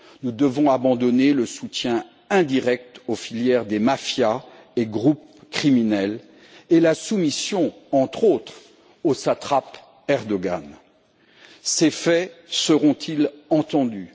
Nous devons abandonner le soutien indirect aux filières des mafias et groupes criminels et la soumission, entre autres, au satrape Erdoğan. Ces faits seront ils entendus?